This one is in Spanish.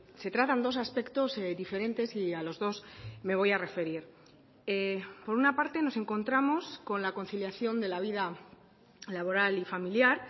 se tratan dos aspectos diferentes y a los dos me voy a referir por una parte nos encontramos con la conciliación de la vida laboral y familiar